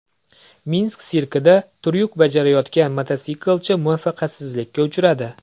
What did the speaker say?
Minsk sirkida tryuk bajarayotgan mototsiklchi muvaffaqiyatsizlikka uchradi .